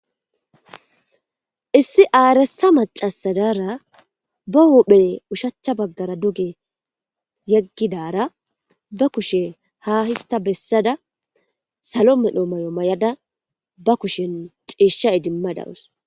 Issi aaressa maccasa daara be huphe oshachcha baggara duge yeggada be kushe ha histta bessada salo medho mayo mayada ba kushen ciishsha oykada da7awus.